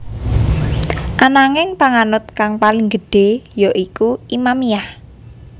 Ananging panganut kang paling gedhé ya iku Imamiyah